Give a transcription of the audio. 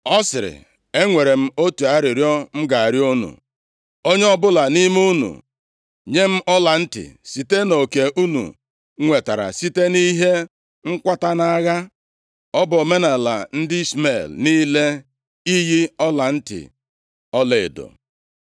Ọ sịrị, “Enwere m otu arịrịọ m ga-arịọ unu. Onye ọbụla nʼime unu nye m ọlantị site nʼoke unu nwetara site nʼihe nkwata nʼagha.” (Ọ bụ omenaala ndị Ishmel niile iyi ọlantị ọlaedo.)